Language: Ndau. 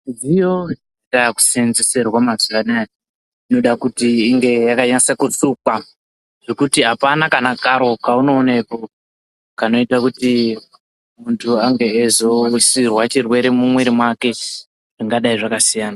Midziyo yatakuseenzeserwa maxuwa anaya, inoda kunasa kusukwa zvekuti apana kana karo kaunoonepo kanoita kut munhu ange eizoisirwa zvirwere mumwiri mwake zvingadai zvakasiyana.